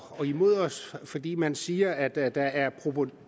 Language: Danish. imod os fordi man siger at at der er